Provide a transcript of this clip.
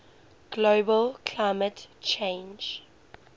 global climate change